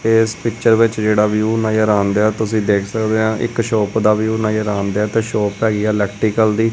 ਏਸ ਪਿੱਚਰ ਵਿੱਚ ਜਿਹੜਾ ਵਿਊ ਨਜ਼ਰ ਆਣਦਿਐ ਤੁਸੀ ਦੇਖ ਸਕਦੇ ਆ ਇੱਕ ਸ਼ੋਪ ਦਾ ਵਿਊ ਨਜ਼ਰ ਆਣਦਿਐ ਤੇ ਸ਼ੋਪ ਹੈਗੀ ਆ ਇਲੈਕਟੀਕਲ ਦੀ।